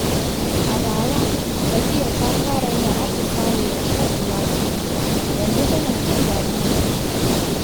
A bara, Safiya ta fara yin atisaye da shan ruwa da wuri, yanzu tana jin daɗin jikinta.